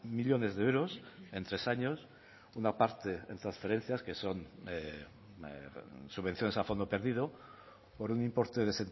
millónes de euros en tres años una parte de transferencias que son subvenciones a fondo perdido por un importe de